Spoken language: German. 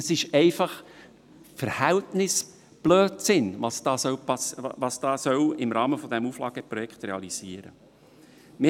Das ist einfach Verhältnisblödsinn, was da im Rahmen des Auflageprojekts realisiert werden soll.